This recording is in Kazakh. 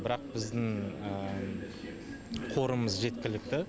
бірақ біздің қорымыз жеткілікті